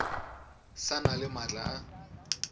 sa na le maatla a